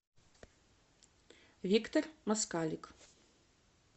виктор москалик